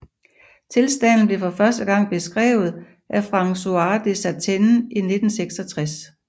Tilstanden blev for første gang beskrevet af François Dessertenne i 1966